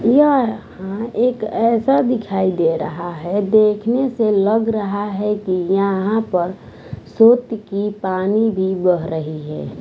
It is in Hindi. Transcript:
यह एक ऐसा दिखाई दे रहा है देखने से लग रहा है कि यहाँ पर सोत की पानी भी बह रही है।